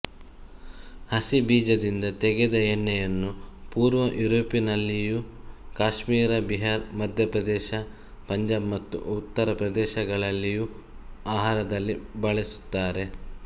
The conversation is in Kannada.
ಹಸಿಬೀಜದಿಂದ ತೆಗೆದ ಎಣ್ಣೆಯನ್ನು ಪೂರ್ವ ಯುರೋಪಿನಲ್ಲಿಯೂ ಕಾಶ್ಮೀರ ಬಿಹಾರ್ ಮಧ್ಯಪ್ರದೇಶ ಪಂಜಾಬ್ ಮತ್ತು ಉತ್ತರಪ್ರದೇಶಗಳಲ್ಲಿಯೂ ಆಹಾರದಲ್ಲಿ ಬಳಸುತ್ತಾರೆ